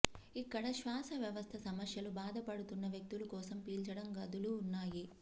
ఇక్కడ శ్వాస వ్యవస్థ సమస్యలు బాధపడుతున్న వ్యక్తులు కోసం పీల్చడం గదులు ఉన్నాయి